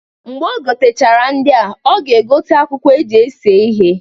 Mgbe o gotechara ndịa, ọ ga egote akwụkwọ eji ese ihe.